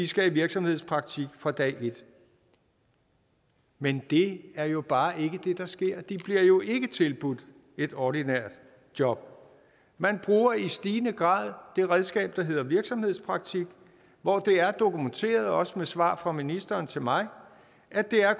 skal i virksomhedspraktik fra dag et men det er jo bare ikke det der sker de bliver jo ikke tilbudt et ordinært job man bruger i stigende grad det redskab der hedder virksomhedspraktik hvor det er dokumenteret også med svar fra ministeren til mig at det